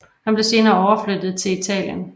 Han blev senere overflyttet til Italien